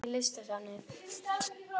Theresa, er opið í Listasafninu?